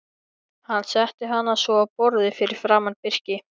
Hann setti hana svo á borðið fyrir framan Birki.